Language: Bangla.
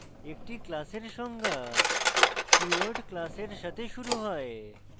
একটি class এর সংজ্ঞা keyword class এর সাথে শুরু হয়